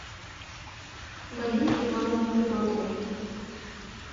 галине ивановне федотовой